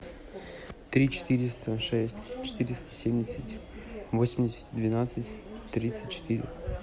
три четыреста шесть четыреста семьдесят восемьдесят двенадцать тридцать четыре